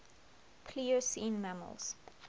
pliocene mammals